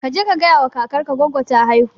kaje ka gayawa kakar ka goggo ta haihu